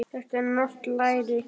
Þetta er norskt læri.